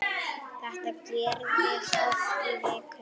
Þetta gerðist oft í viku.